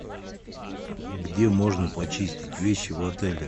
где можно почистить вещи в отеле